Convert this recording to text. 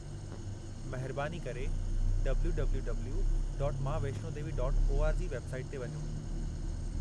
महिरबानी करे www.maavaishnodevi.org website ते वञो।